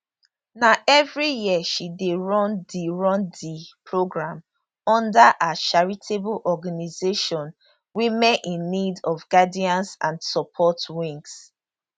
na evri year she dey run di run di programme under her charitable organisation women in need of guidance and support wings